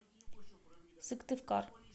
сыктывкар